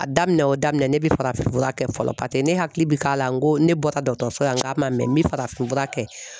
A daminɛ o daminɛ ne bɛ farafinfura kɛ fɔlɔ paseke ne hakili bɛ k'a la n ko ne bɔtɔ dɔgɔtɔrɔso la n k'a ma mɛ n bɛ farafinfura kɛ .